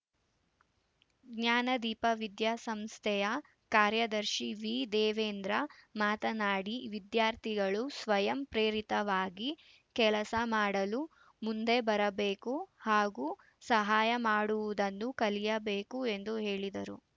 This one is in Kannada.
ಜ್ಞಾನದೀಪ ವಿದ್ಯಾಸಂಸ್ಥೆಯ ಕಾರ್ಯದರ್ಶಿ ವಿ ದೇವೇಂದ್ರ ಮಾತನಾಡಿ ವಿದ್ಯಾರ್ಥಿಗಳು ಸ್ವಯಂ ಪ್ರೇರಿತವಾಗಿ ಕೆಲಸ ಮಾಡಲು ಮುಂದೆ ಬರಬೇಕು ಹಾಗೂ ಸಹಾಯ ಮಾಡುವುದನ್ನು ಕಲಿಯಬೇಕು ಎಂದು ಹೇಳಿದರು